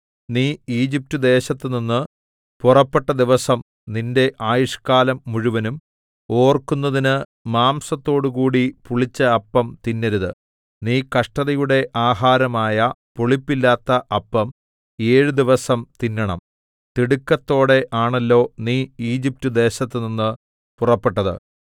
നീ ഈജിപ്റ്റ്ദേശത്തുനിന്ന് പുറപ്പെട്ട ദിവസം നിന്റെ ആയുഷ്ക്കാലം മുഴുവനും ഓർക്കുന്നതിന് മാംസത്തോടുകൂടി പുളിച്ച അപ്പം തിന്നരുത് നീ കഷ്ടതയുടെ ആഹാരമായ പുളിപ്പില്ലാത്ത അപ്പം ഏഴ് ദിവസം തിന്നണം തിടുക്കത്തോടെ ആണല്ലോ നീ ഈജിപ്റ്റ്ദേശത്തുനിന്ന് പുറപ്പെട്ടത്